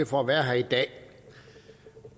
for at være her i dag